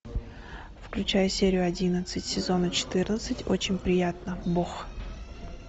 включай серию одиннадцать сезона четырнадцать очень приятно бог